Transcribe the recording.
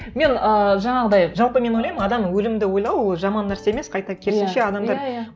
мен ы жаңағыдай жалпы мен ойлаймын адам өлімді ойлау ол жаман нәрсе емес қайта керісінше адамдар